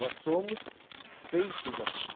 Nós somos feitos assim.